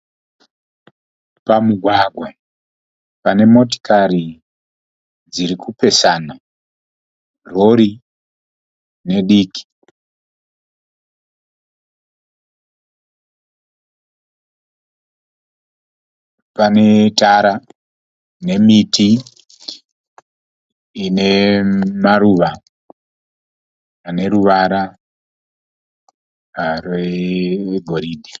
Pamugwagwa pane motikari dziri kupesana rori nediki pane tara nemiti ine maruva ane ruvara rwe goridhe.